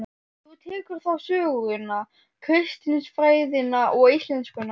Þú tekur þá söguna, kristinfræðina og íslenskuna.